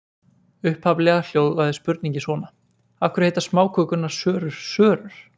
Upphaflega hljóðaði spurningin svona: Af hverju heita smákökurnar sörur sörur?